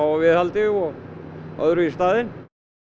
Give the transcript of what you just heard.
að viðhaldi og öðru í staðinn